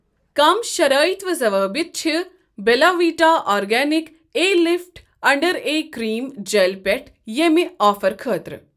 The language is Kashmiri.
کم شرٲیط و ضوٲبط چھ Bella Vita organic eye lift under eye cream gel پٮ۪ٹھ ییٚمہِ آفر خٲطرٕ؟